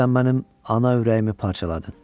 Sən mənim ana ürəyimi parçaladın."